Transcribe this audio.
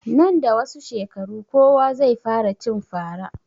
Nan da wasu shekaru kowa zai fara cin fara